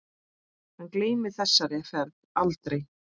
Hann gleymir þessari ferð aldrei.